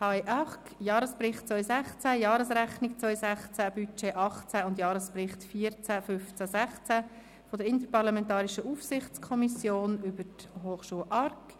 «HE-Arc, Jahresbericht 2016, Jahresrechnung 2016, Budget 2018 und Jahresbericht 2014–2015–2016 der Interparlamentarischen Aufsichtskommission über die HE-Arc».